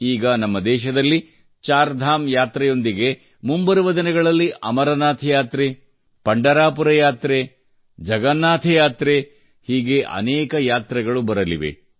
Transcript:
ಈಗ ನಮ್ಮ ದೇಶದಲ್ಲಿ ಚಾರ್ ಧಾಮ್ ಯಾತ್ರೆಯೊಂದಿಗೆ ಮುಂಬರುವ ದಿನಗಳಲ್ಲಿ ಅಮರನಾಥ್ ಯಾತ್ರೆ ಪಂಡರಾಪುರ ಯಾತ್ರೆ ಮತ್ತು ಜಗನ್ನಾಥ ಯಾತ್ರೆ ಹೀಗೆ ಅನೇಕ ಯಾತ್ರೆಗಳು ಇರಲಿವೆ